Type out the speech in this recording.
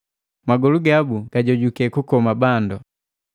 Magolu gabu gajojuke kukoma bandu.